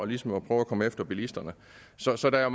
ligesom at prøve at komme efter bilisterne så så der